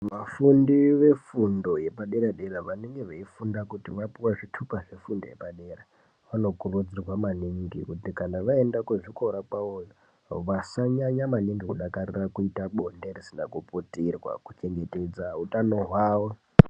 Vafundi vefundo yepadera dera vanenge veifunda kuti vapuwe zvitupa zvefundo yepadera dera vanokurudzirwa maningi kuti kana vaenda kuzvikora kwavoyo vasanyanya maningi kudakarira kuita bonde risina kuputirwa kuchengetedza utano hwawo.